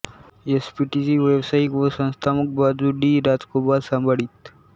एसपीटीची व्यावसायिक व संस्थात्मक बाजू डी राजगोपाल सांभाळीत